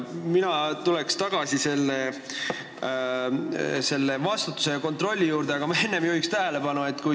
Mina tulen tagasi selle vastutuse ja kontrolli teema juurde, aga ma juhin enne ühele asjale tähelepanu.